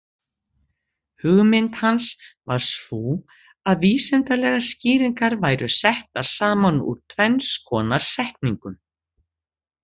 Hugmynd hans var sú að vísindalegar skýringar væru settar saman úr tvenns konar setningum.